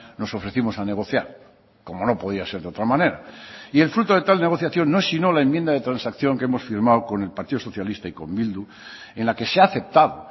nos ofrecimos a negociar como no podía ser de otra manera y el fruto de tal negociación no es sino la enmienda de transacción que hemos firmado con el partido socialista y con bildu en la que se ha aceptado